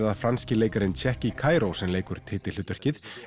það franski leikarinn Tchéky Karyo sem leikur titilhlutverkið